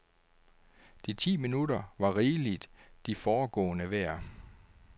De ti minutter var rigeligt de foregående værd.